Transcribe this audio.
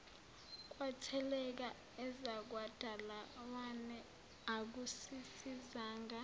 kwatheleka ezakwadalawane akusisizanga